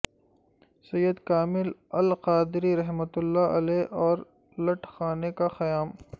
سید کامل القادری رحمت اللہ علیہ اور لٹھ خانے کا قیام